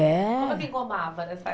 É. Como é que engomava nessa